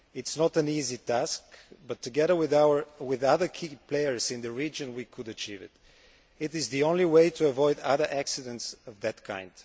It is not an easy task but, together with other key players in the region, we could achieve it. It is the only way to avoid other accidents of that kind.